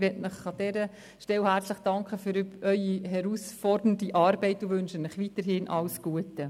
Ich will Ihnen an dieser Stelle herzlich danken für Ihre herausfordernde Arbeit und wünsche Ihnen weiterhin alles Gute.